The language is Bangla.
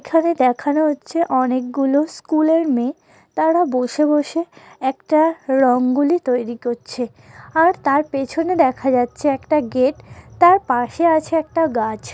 এখকানে দেখা যাচ্ছে অনেক গুলো স্কুল -এর মেয়ে তারা বসে বসে একটা রং গুলি তৈরি করছে | আর তার পেছনে দেখা যাচ্ছে একটা গেট তার পাশে আছে একটা গাছ।